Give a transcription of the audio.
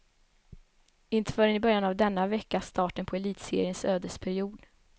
Inte förrän i början av denna vecka, starten på elitseriens ödesperiod.